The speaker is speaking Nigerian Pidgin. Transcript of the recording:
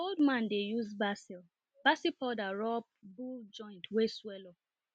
my old man dey use basil basil powder rub bull joint wey swell up